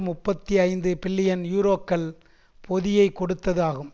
முப்பத்தி ஐந்து பில்லியன் யூரோக்கள் பொதியைக் கொடுத்தது ஆகும்